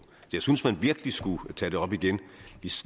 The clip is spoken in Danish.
jeg synes man virkelig skulle tage det op igen